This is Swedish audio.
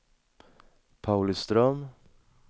Pauliström